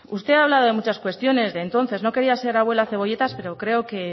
usted ha hablado de muchas cuestiones de entonces no quería ser abuela cebolletas pero creo que